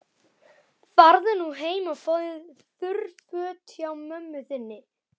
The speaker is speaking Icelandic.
Farðu nú heim og fáðu þurr föt hjá mömmu þinni.